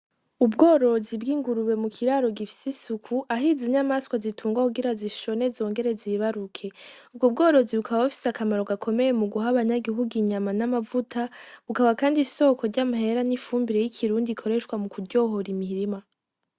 Ubworozi bw'ingurube mu kiraro gifise isuku ahize inyamaswa zitungwa kugira zishone zongere zibaruke , uwo ubworozi bukaba bifise akamaro gakomeye mu guha abanyagihuga inyama n'amavuta, bukaba kandi isoko ry'ampera n'ifumbire y'ikirundi ikoreshwa mu kuryohora imirima.